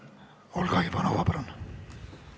Olga Ivanova, palun!